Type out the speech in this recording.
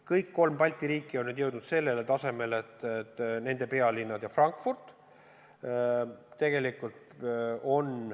Kõik kolm Balti riiki on nüüd jõudnud sellele tasemele, et ühendatud on nende pealinnad ja Frankfurt.